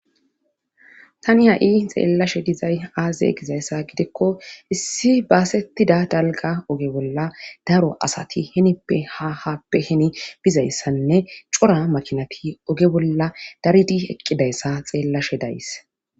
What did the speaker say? Tani ha7i xeellashe dizay aaze gizayssa gidikko issi baasettida dalga oge bolla daro asati hinippe ha happe hini bizayssanne cora makinati oge bolla daridi eqqidayssa xeellashe days